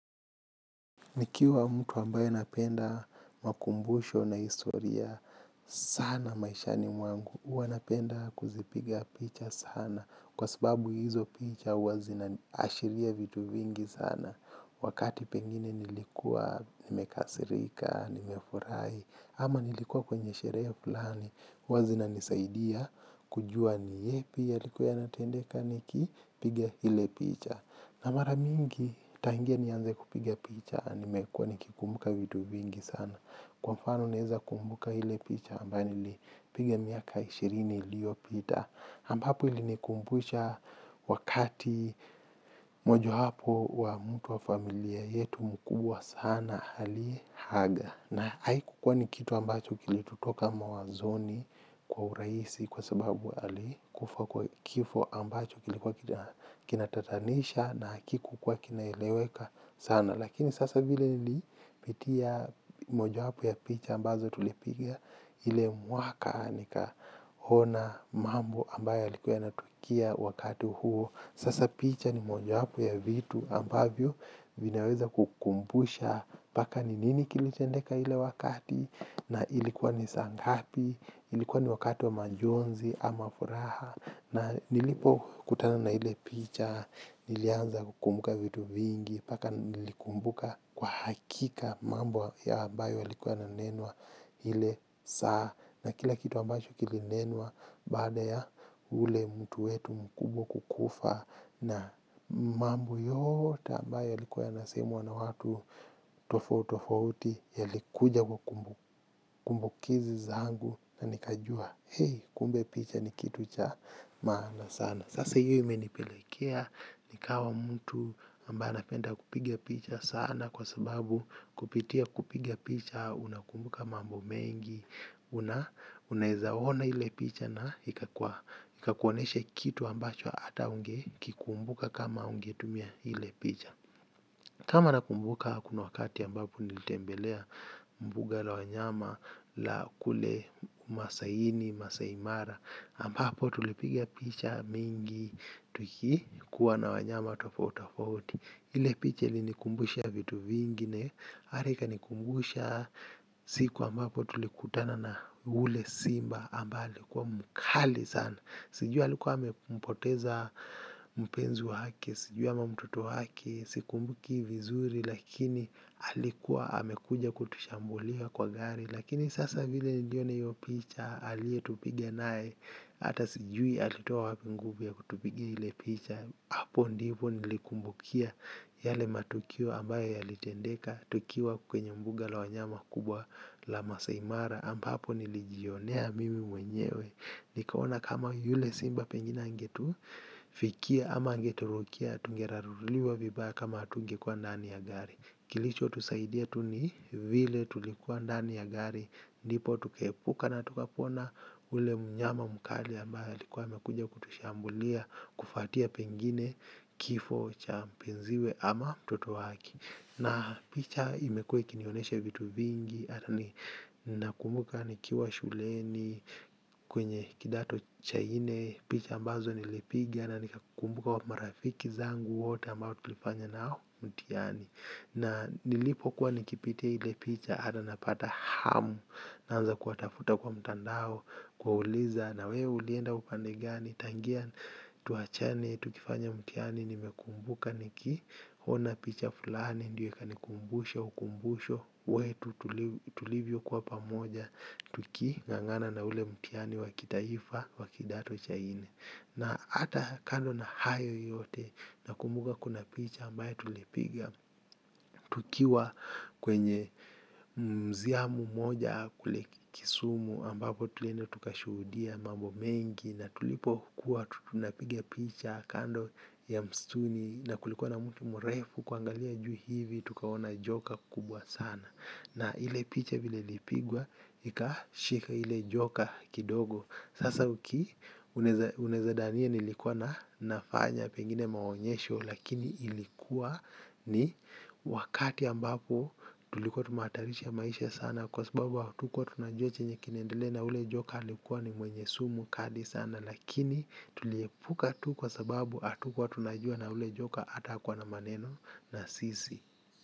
Nikiwa mtu ambayo napenda makumbusho na historia, sana maishani mwangu, huwa napenda kuzipiga picha sana, kwa sababu hizo picha huwa zinaashiria vitu vingi sana, wakati pengine nilikua nimekasirika, nimefurahi, ama nilikua kwenye sherehe fulani, huwa zinanisaidia kujua ni yepi yaliku yanatendeka nikipigia hile picha. Na mara mingi nitaingia nianze kupiga picha nimekuwa nikikumbuka vitu vingi sana kwa mfano naweza kumbuka picha nilipga miaka ishirini iliyopita ambapo ilinikumbusha wakati moja hapo wa mtu wa familia yetu mkubwa sana alihaga. Na haikukuwa ni kitu ambacho kilitutoka mawazoni kwa urahisi kwa sababu ali kufa kwa kifo ambacho kilikuwa kinatatanisha na hakikuwa kinaeleweka sana. Lakini sasa vile nilipitia mojawapo ya picha ambazo tulipiga. Ile mwaka nikaona mambo ambayo yalikuwa yanatukia wakati huo. Sasa picha ni mojawapo ya vitu ambavyo vinaweza kukumbusha paka ni nini kilitendeka ile wakati na ilikuwa ni saa ngapi. Ilikuwa ni wakati wa majonzi ama furaha na nilipokutana na ile picha nilianza kukumbuka vitu vingi paka nilikumbuka kwa hakika mambo ya ambayo yalikua yananenwa hile saa na kila kitu ambacho kilinenwa baada ya ule mtu wetu mkubwa kukufa na mambo yote ambayo yalikua yanasemwa na watu tofauti tofauti yalikuja kuwa kumbukizi zangu na nikajua hei kumbe picha ni kitu cha maana sana. Sasa hiyo imenipelekea, nikawa mtu ambae napenda kupigia picha sana kwa sababu kupitia kupigia picha, unakumbuka mambo mengi, unaizaona hile picha na ikakuoneshe kitu ambacho ata ungekikumbuka kama ungetumia ile picha. Kama nakumbuka kuna wakati ambapo nilitembelea mbuga la wanyama la kule masaini, masaimara ambapo tulipigia picha mingi tuki kuwa na wanyama tofauti tofauti. Ile picha ilinikumbusha vitu vingine ata ikanikumbusha siku ambapo tulikutana na ule simba ambale alikuwa mkali sana. Sijui alikuwa amempoteza mpenzi wake, sijui ama mtoto hwake, sikumbuki vizuri lakini alikuwa amekuja kutushambulia kwa gari. Lakini sasa vile niliona iyo picha alietupige nae. Hata sijui alitoa wapi nguvu ya kutupiga ile picha. Hapo ndivo nilikumbukia yale matukio ambayo yalitendeka. Tukiwa kwenye mbuga la wanyama kubwa la masai mara ampapo nilijionea mimi mwenyewe. Nikaona kama yule simba pengine angetu fikia ama angeturukia. Tungeraruliwa vibaya kama atungekuwa ndani ya gari. Kilichotusaidia tu ni vile tulikuwa ndani ya gari. Ndipo tukaepuka na tukapona ule mnyama mkali ambaye alikuwa amekuja kutushambulia. Kufuatia pengine kifo cha mpenziwe ama mtoto wake na picha imekua ikinionesha vitu vingi ata ni nakumbuka nikiwa shuleni kwenye kidato cha nne picha ambazo nilipiga na nikakumbuka wa marafiki zangu wote ambao tulifanya nao mtihani na nilipo kuwa nikipite ile picha ata napata hamu. Naanza kuwatafuta kwa mtandao kuwauliza na wewe ulienda upande gani. Tangia mambo yote ambayo yalikua yanasemwa na watu tofauti tofauti yalikuja kuwa kumbukizi zangu na nikajua hei kumbe picha ni kitu cha maana sana. Kuona picha fulani ikanikumbusha ukumbusho wetu tuli tulivyokuwa pamoja tuking'ang'ana na ule mtihani wa kitaifa wa kidato cha nne na ata kando na hayo yote nakumbuka kuna picha tulipiga tukiwa kwenye museum moja kule kisumu ambapo tulienda tukashuhudia mambo mengi na tulipokuwa tunapiga picha kando ya msitu na kulikuwa na mti mrefu kuangalia juu tukaona joka kubwa sana na ile picha vile ilipigwa ikashika ile joka kidogo. Sasa uki unaweza unaweza dania nilikuwa na nafanya pengine maonyesho lakini ilikuwa ni wakati ambapo tulikuwa tumehatarisha maisha sana kwa sababu hatukuwa tunajua chenye kinaendele na ule joka alikuwa ni mwenye sumu kadi sana lakini tuliepuka tu kwa sababu hatukuwa tunajua na ule joka ata hakuwa na maneno na sisi.